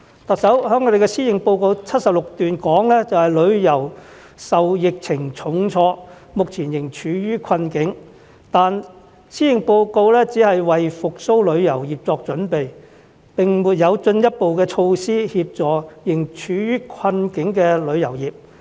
特首在施政報告第76段提到，旅遊業受疫情重創，目前仍處於困境，但施政報告只是為復蘇旅遊業作準備，並沒有進一步措施協助仍處於困境的旅遊業。